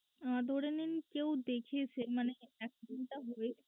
ধরে নিন কেউ দেখেছে মানে accident টা হয়েছে